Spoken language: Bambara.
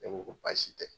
Ne ko ko baasi tɛ